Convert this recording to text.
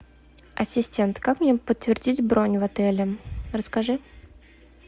ассистент как мне подтвердить бронь в отеле расскажи